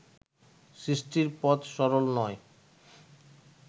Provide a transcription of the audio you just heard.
সৃষ্টির পথ সরল নয়